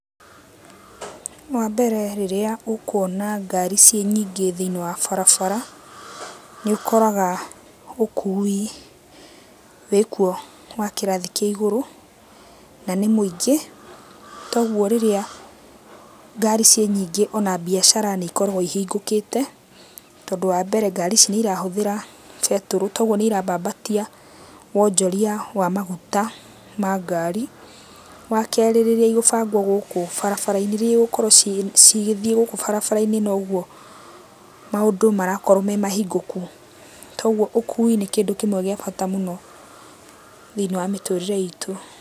Wambere rĩrĩa ũkuona ngari ciĩ nyingĩ thĩiniĩ wa barabara, nĩũkoraga ũkui wĩkuo wa kĩrathi kĩa igũrũ, na nĩ mũingĩ. Toguo rĩrĩa ngari ciĩ nyingĩ ona mbiacara nĩikoragũo ihingũkĩte, tondũ wambere ngari ici nĩirahũthĩra betũrũ. Toguo nĩirambambatia wonjoria wa maguta ma ngari. Wakerĩ rĩrĩa igũbangwo gũkũ barabara-inĩ, rĩrĩa igũkorwo cigĩthiĩ gũkũ barabara-inĩ nogũo maũndũ marakorwo me mahingũku. Toguo ũkui nĩ kĩndũ kĩmwe gĩa bata mũno thĩiniĩ wa mĩtũrĩre itũ.